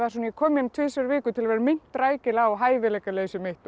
ég kom hérna tvisvar í viku til að vera minnt rækilega á hæfileikaleysi mitt og